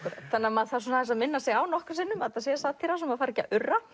maður þarf að minna sig á nokkrum sinnum að þetta sé satíra svo maður fari ekki að urra